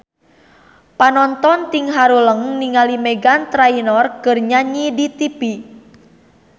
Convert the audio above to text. Panonton ting haruleng ningali Meghan Trainor keur nyanyi di tipi